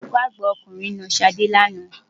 Olùkọ́ àgbà ọkùnrin na Ṣadé lánàá.